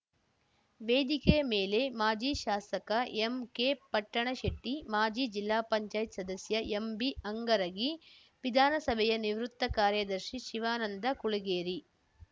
ವೇದಿಕೆಯ ಮೇಲೆ ಮಾಜಿ ಶಾಸಕ ಎಂಕೆಪಟ್ಟಣಶೆಟ್ಟಿ ಮಾಜಿ ಜಿಲ್ಲಾಪಂಚಾಯತ್ಸದಸ್ಯ ಎಂಬಿಹಂಗರಗಿ ವಿಧಾನಸಭೆಯ ನಿವೃತ್ತ ಕಾರ್ಯದರ್ಶಿ ಶಿವಾನಂದ ಕುಳಗೇರಿ